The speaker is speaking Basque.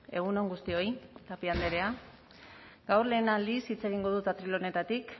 egun on guztioi tapia andrea gaur lehen aldiz hitz egingo dut atril honetatik